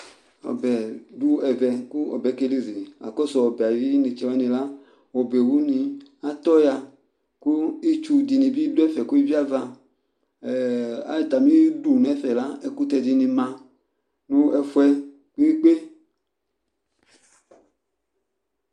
Ɔbɛ du ɛvɛ Ɔbɛ kelizi Akɔsu ɔbɛ ayinetse wanila ɔbɛwuni atɔ wa Ƙu itsu dini bi dɛfɛ ke eviava Ka atamidu nɛfɛ ɛkutɛ dini ma niigbe